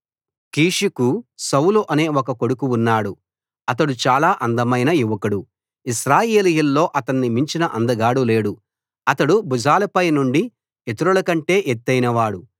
కీషుకు Saul అనే ఒక కొడుకు ఉన్నాడు అతడు చాలా అందమైన యువకుడు ఇశ్రాయేలీయుల్లో అతణ్ణి మించిన అందగాడు లేడు అతడు భుజాలపై నుండి ఇతరుల కంటే ఎత్తయినవాడు